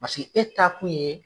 Paseke e ta kun ye.